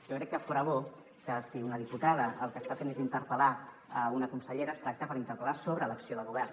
jo crec que fora bo que si una diputada el que està fent és interpel·lar una consellera es tracta d’interpel·lar sobre l’acció de govern